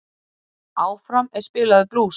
Áfram er spilaður blús.